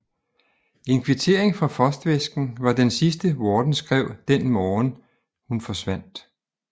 En kvittering for frostvæsken var den sidste Worden skrev den morgen hun forsvandt